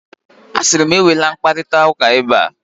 A siri m, enwela mkparita ụka ebe a.